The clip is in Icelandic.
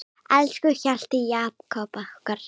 Elsku Hjalti Jakob okkar.